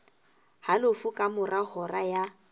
halofo ka mora hora ya